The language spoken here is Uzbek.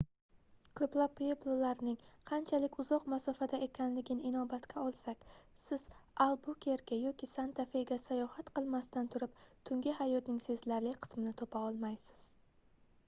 koʻplab pueblolarning qanchalik uzoq masofada ekanligini inobatga olsak siz albukerke yoki santa fega sayohat qilmasdan turib tungi hayotning sezilarli qismini topa olmaysiz